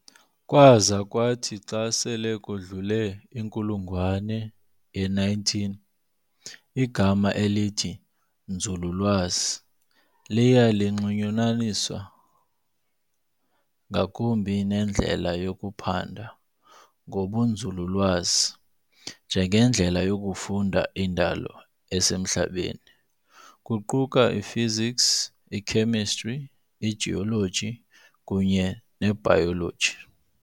Kwaza kwathi xa sele kudlule inkulungwane ye-19, igama elithi "Nzululwazi" liya linxulunyaniswa ngakumbi nendlela yokuphanda ngokobunzululwazi, njengendlela yokufunda indalo esemhlabeni, kuquka iphysics, ikhemistri, igeology kunye nebhayoloji.